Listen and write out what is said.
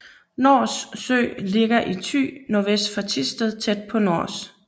Nors Sø ligger i Thy nordvest for Thisted tæt ved Nors